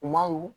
Kumaw